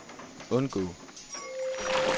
undgå